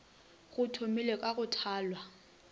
go thomilwe ka go thalwa